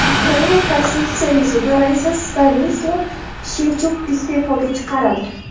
Ukraina Konstitutsiyaviy sudi raisi Stanislav Shevchuk iste’foga chiqarildi.